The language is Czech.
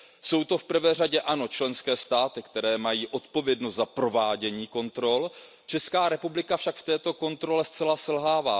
Jsou to v prvé řadě členské státy, které mají odpovědnost za provádění kontrol, Česká republika však v této kontrole zcela selhává.